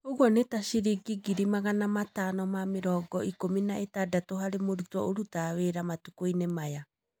Ũguo nĩ ta ciringi ngiri magana matano ma mĩrongo ikũmi na ĩtadatũ harĩ mũrutwo ũrutaga wĩra matukũ-inĩ maya.